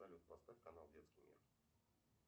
салют поставь канал детский мир